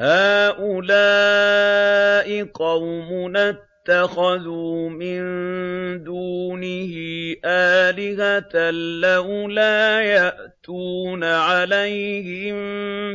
هَٰؤُلَاءِ قَوْمُنَا اتَّخَذُوا مِن دُونِهِ آلِهَةً ۖ لَّوْلَا يَأْتُونَ عَلَيْهِم